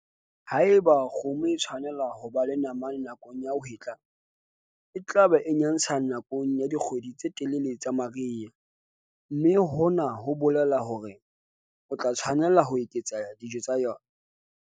Haeba kgomo e tshwanela ho ba le namane nakong ya hwetla, e tla be e nyantsha nakong ya dikgwedi tse telele tsa mariha, mme hona ho bolela hore o tla tshwanela ho eketsa dijo tsa yona.